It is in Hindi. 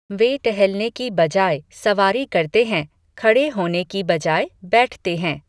वे टहलने की बजाय सवारी करते हैं, खड़े होने की बजाय बैठते हैं।